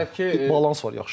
Orda balans var, yaxşı.